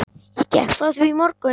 Ég gekk frá því í morgun.